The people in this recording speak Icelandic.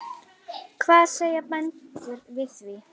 Hvað segja bændur við því?